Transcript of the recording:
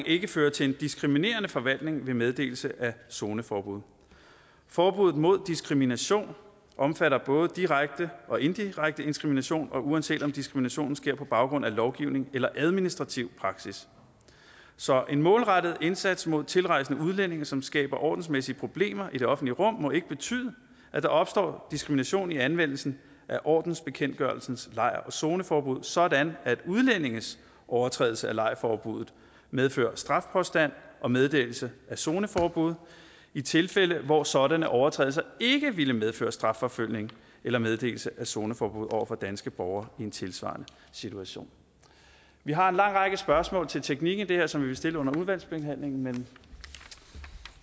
ikke fører til en diskriminerende forvaltning ved meddelelse af zoneforbud forbuddet mod diskrimination omfatter både direkte og indirekte diskrimination uanset om diskriminationen sker på baggrund af lovgivning eller administrativ praksis så en målrettet indsats mod tilrejsende udlændinge som skaber ordensmæssige problemer i det offentlige rum må ikke betyde at der opstår diskrimination i anvendelsen af ordensbekendtgørelsens lejr og zoneforbud sådan at udlændinges overtrædelse af lejrforbuddet medfører strafpåstand og meddelelse af zoneforbud i tilfælde hvor sådanne overtrædelser ikke ville medføre strafforfølgelse eller meddelelse af zoneforbud over for danske borgere i en tilsvarende situation vi har en lang række spørgsmål til teknikken i det her som vi vil stille under udvalgsbehandlingen men